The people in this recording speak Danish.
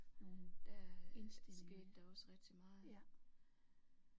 Der skete der også rigtig meget